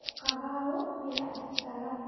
ku kabaagho me yakisalamu.